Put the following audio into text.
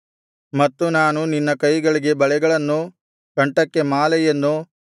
ಮತ್ತು ನಾನು ನಿನ್ನ ಕೈಗಳಿಗೆ ಬಳೆಗಳನ್ನು ಕಂಠಕ್ಕೆ ಮಾಲೆಯನ್ನು